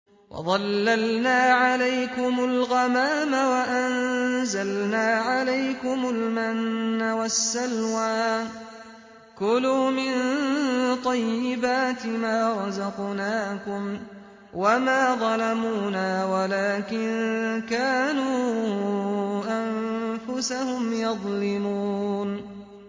وَظَلَّلْنَا عَلَيْكُمُ الْغَمَامَ وَأَنزَلْنَا عَلَيْكُمُ الْمَنَّ وَالسَّلْوَىٰ ۖ كُلُوا مِن طَيِّبَاتِ مَا رَزَقْنَاكُمْ ۖ وَمَا ظَلَمُونَا وَلَٰكِن كَانُوا أَنفُسَهُمْ يَظْلِمُونَ